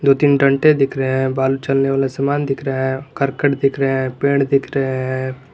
दो तीन डंडे दिख रहे हैं बालू चलने वाला समान दिख रहा है करकट दिख रहे है पेड़ दिख रहे हैं।